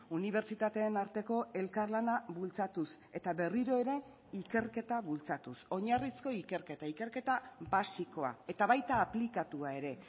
unibertsitateen arteko elkarlana bultzatuz eta berriro ere ikerketa bultzatuz oinarrizko ikerketa ikerketa basikoa eta baita aplikatua ere